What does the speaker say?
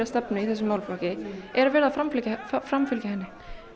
stefnu í þessum málaflokki er verið að framfylgja framfylgja henni